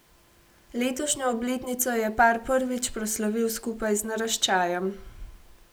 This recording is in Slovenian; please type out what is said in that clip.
Letošnjo obletnico je par prvič proslavil skupaj z naraščajem.